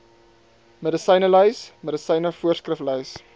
medisynelys medisyne voorskriflys